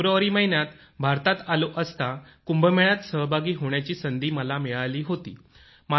February महिन्यात भारतात आलो असता कुंभमेळ्यात सहभागी होण्याची संधी मला मिळाली होती